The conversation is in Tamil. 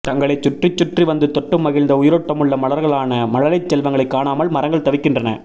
தங்களை சுற்றி சுற்றி வந்து தொட்டு மகிழ்ந்த உயிரோட்டமுள்ள மலர்களான மழலைச் செல்வங்களைக் காணமால் மரங்கள் தவிக்கின்றன